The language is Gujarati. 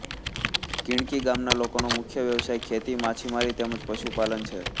ધીણકી ગામના લોકોનો મુખ્ય વ્યવસાય ખેતી માછીમારી તેમ જ પશુપાલન છે